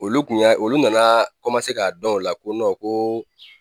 Olu kun y'a olu nana k'a dɔn o la ko ko